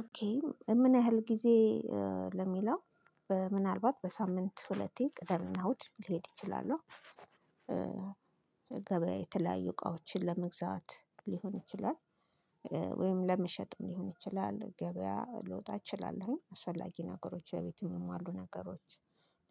ኦኬ ምን ያህል ጊዜ ለሚለው ምናልባት በሳምንት ሁለቴ ቅዳሜ እና እሁድ ሊሄድ እችላለው። ገበያ የተለያዩ እቃዎችን ለመግዛት ሊሆን ይችላል። ወይም ለመሸጥ ሊሆን ይችላል። ገበያ ለወጥ አትችልም አስፈላጊ ነገሮች በቤቱ የሚሟሉ ነገሮች።